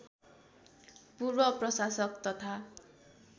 पूर्व प्रशासक तथा